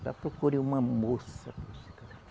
Ela procure uma moça para você casar.